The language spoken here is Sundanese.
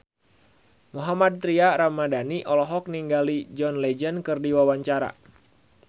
Mohammad Tria Ramadhani olohok ningali John Legend keur diwawancara